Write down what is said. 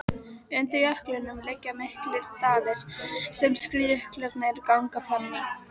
Undir jöklinum liggja miklir dalir sem skriðjöklarnir ganga fram í.